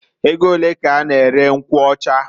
E go olee k'I na- ere nkwụ ọchaa?